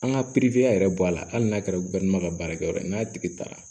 An ka yɛrɛ bɔ a la hali n'a kɛra ka baarakɛyɔrɔ ye n'a tigi taara